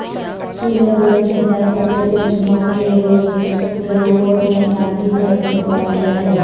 سورت گڑھ فضائی پٹے پر جمعہ کے روز گہلوٹ نے گاندھی کا استقبال کیاہے